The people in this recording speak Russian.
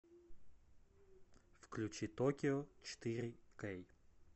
включи токио четыре кей